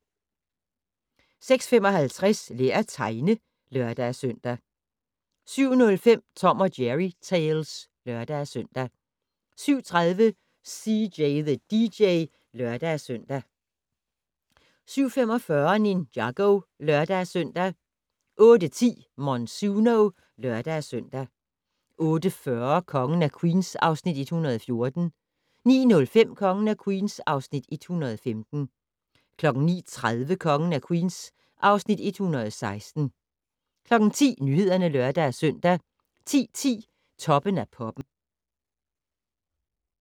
06:55: Lær at tegne (lør-søn) 07:05: Tom & Jerry Tales (lør-søn) 07:30: CJ the DJ (lør-søn) 07:45: Ninjago (lør-søn) 08:10: Monsuno (lør-søn) 08:40: Kongen af Queens (Afs. 114) 09:05: Kongen af Queens (Afs. 115) 09:30: Kongen af Queens (Afs. 116) 10:00: Nyhederne (lør-søn) 10:10: Toppen af Poppen